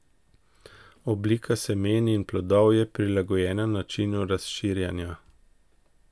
Oblika semen in plodov je prilagojena načinu razširjanja.